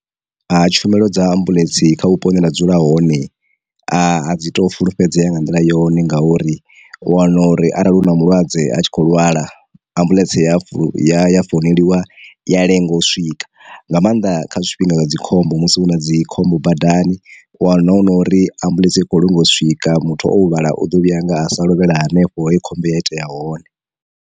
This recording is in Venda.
Ha tshumelo dza ambuḽentse kha vhupo hune nda dzula hone a dzi to fulufhedzea nga nḓila yone nga uri, u wana uri arali hu na malwadze a tshi kho lwala, ambuḽentse ya ya founeliwa i ya lenga u swika, nga maanḓa kha zwifhinga zwa dzi khombo musi hu na dzi khombo badani u wana hu nori ambuḽentse i khou lenga u swika muthu o huvhala uḓo vhuya nga sa lovhela hanefho he khombo ya itea hone.